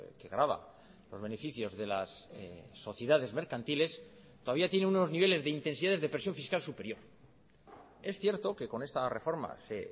que grava los beneficios de las sociedades mercantiles todavía tiene unos niveles de intensidades de presión fiscal superior es cierto que con esta reforma se